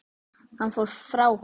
Hann fór frá honum.